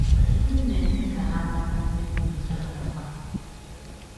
M na - eme ka ha mata ndị mụ na ha na - akpa.